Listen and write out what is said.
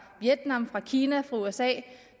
vietnam fra kina fra usa